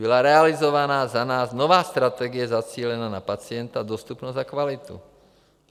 Byla realizována za nás nová strategie zacílená na pacienta, dostupnost a kvalitu.